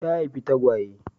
Ta haifi tagwaye.